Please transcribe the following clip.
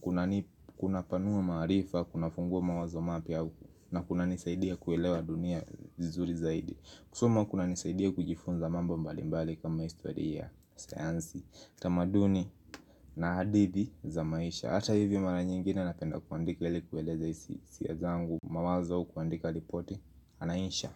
kunanipa kunapanuwa maarifa, kunafunguwa mawazo mapya, na kunanisaidia kuelewa dunia vizuri zaidi. Kusoma kunanisaidia kujifunza mambo mbalimbali kama historia, sayansi, tamaduni na hadithi za maisha. Hata hivyo mara nyingine napenda kuandika li kueleza hisia zangu, mawazo, kuandika ripoti, na insha.